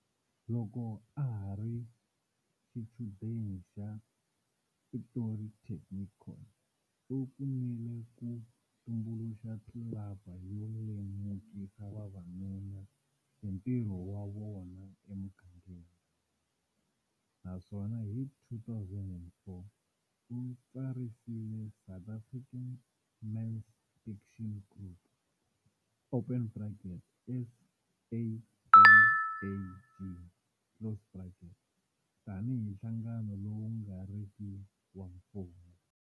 Loko a ha ri xichudeni xa Pretoria Technikon, u pfunile ku tumbuluxa tlilaba yo lemukisa vavanuna hi ntirho wa vona emigangeni, naswona hi 2004, u tsarisile South African Men's Action Group, SAMAG, tanihi nhlangano lowu nga riki wa mfumo.